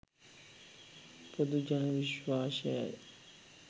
පොදු ජන විශ්වාසයයි.